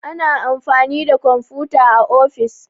ana amfani da kwamfuta a ofis